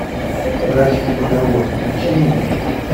брачный договор включи мне